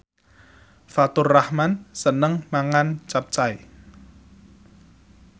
Faturrahman seneng mangan capcay